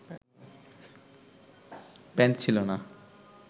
pant ছিলো না